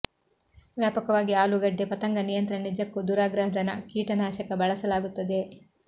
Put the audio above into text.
ವ್ಯಾಪಕವಾಗಿ ಆಲೂಗಡ್ಡೆ ಪತಂಗ ನಿಯಂತ್ರಣ ನಿಜಕ್ಕೂ ದುರಾಗ್ರಹದ ಕೀಟ ನಾಶಕ್ಕೆ ಬಳಸಲಾಗುತ್ತದೆ